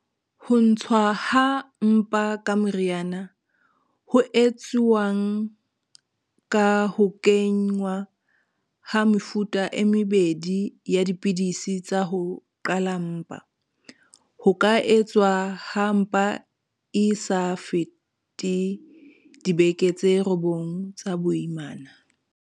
Ho ntshuwa ha mpa ka meriana, ho etsuwang ka ho kenngwa ha mefuta e mebedi ya dipidisi tsa ho qhala mpa, ho ka etswa ha mpa e sa fete dibeke tse robong tsa boimana.